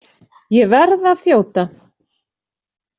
Ég verð að þjóta.